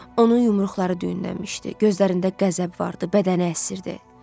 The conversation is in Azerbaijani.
Onun yumruqları düyünlənmişdi, gözlərində qəzəb vardı, bədəni əsirdi.